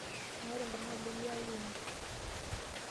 Meeta oltung'ani likiyawua ene.